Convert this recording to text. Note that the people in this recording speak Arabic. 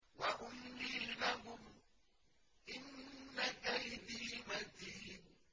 وَأُمْلِي لَهُمْ ۚ إِنَّ كَيْدِي مَتِينٌ